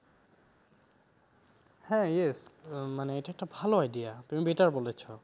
হ্যাঁ yes মানে এটা একটা ভালো idea তুমি better বলেছ,